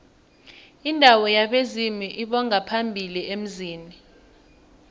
indawo yabezimu lbongaphambili emzini